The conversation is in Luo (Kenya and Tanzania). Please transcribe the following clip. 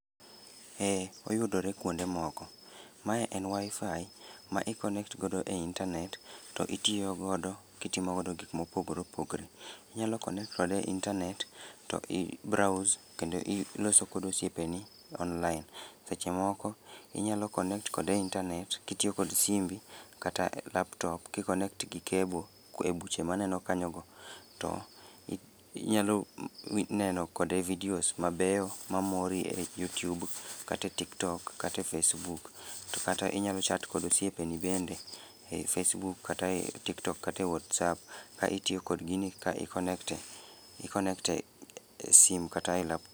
Eee oyudore kwonde moko. Ma en Wi-Fi ma i connect godo e internet to itiyo godo kitimo godo gik mopogore opogre. Inyalo connect kode e internet to i browse kendo i loso kod osiepeni online. Seche moko, inyalo connect kode e internet kitiyo kod simbi, kata laptop ki connect gi cable e buche maneno kanyo go. To i inyalo neno kode videos mabeyo mamori e YouTube, kate TikTok, kate Facebook. To kata inyalo chat kod osiepeni bende, e Facebook kata e TikTok kata e WhatsApp ka itiyo kod gini ka i connect e i connect e esim kata e laptop